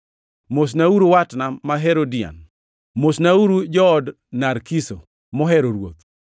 Mosnauru watna ma Herodion. Mosnauru jood Narkiso, mohero Ruoth.